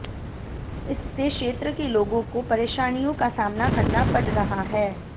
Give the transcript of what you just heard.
इस से क्षेत्र के लोगों को परेशानियों का सामना करना पड़ रहा है